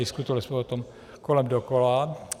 Diskutovali jsme o tom kolem dokola.